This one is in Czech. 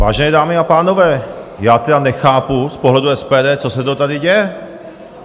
Vážené dámy a pánové, já tedy nechápu z pohledu SPD, co se to tady děje.